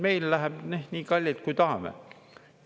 Meil läheb nii kallilt, kui tahame.